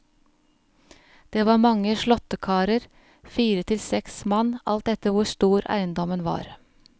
Det var mange slåttekarer, fire til seks mann, alt etter hvor stor eiendommen var.